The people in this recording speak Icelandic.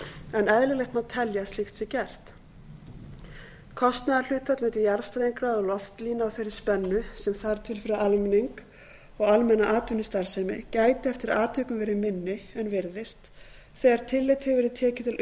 en eðlilegt má telja að slíkt sé gert kostnaðarhlutfall milli jarðstrengja og loftlína á þeirri spennu sem þarf til fyrir almenning og almenna atvinnustarfsemi gæti eftir atvikum verið minni en virðist þegar tillit hefur verið tekið til